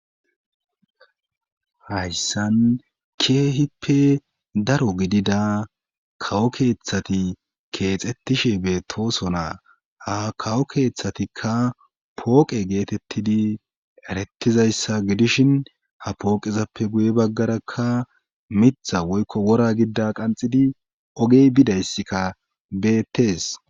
Hayssan keehippe daro gidida kawo keeththati keexettishe beetooso naa ha kawo keeththatikka pooqe geetettidi erettizayssa gidishin ha pooqezappe guye baggarakka mitha woykko wora gidida qanxidi ogey bidayska beettees.